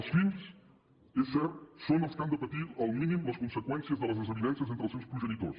els fills és cert són els que han de patir al mínim les conseqüències de les desavinences entre els seus progenitors